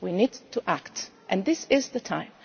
enough. We need to act and this is the